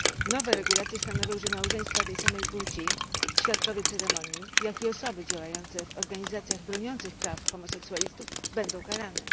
Nowe regulacje stanowią, że małżeństwa tej samej płci, świadkowie ceremonii jak i osoby działające w organizacjach broniących praw homoseksualistów będą karane.